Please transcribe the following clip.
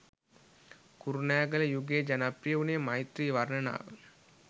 කුරුණෑගල යුගයේ ජනප්‍රිය වුණේ මෛත්‍රී වර්ණනාව